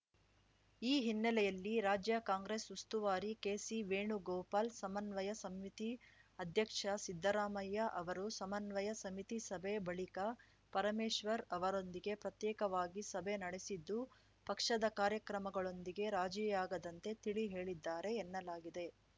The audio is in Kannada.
ಈ ಹಿನ್ನೆಲೆಯಲ್ಲಿ ರಾಜ್ಯ ಕಾಂಗ್ರೆಸ್‌ ಉಸ್ತುವಾರಿ ಕೆಸಿ ವೇಣುಗೋಪಾಲ್‌ ಸಮನ್ವಯ ಸಮಿತಿ ಅಧ್ಯಕ್ಷ ಸಿದ್ದರಾಮಯ್ಯ ಅವರು ಸಮನ್ವಯ ಸಮಿತಿ ಸಭೆ ಬಳಿಕ ಪರಮೇಶ್ವರ್‌ ಅವರೊಂದಿಗೆ ಪ್ರತ್ಯೇಕವಾಗಿ ಸಭೆ ನಡೆಸಿದ್ದು ಪಕ್ಷದ ಕಾರ್ಯಕ್ರಮಗಳೊಂದಿಗೆ ರಾಜಿಯಾಗದಂತೆ ತಿಳಿ ಹೇಳಿದ್ದಾರೆ ಎನ್ನಲಾಗಿದೆ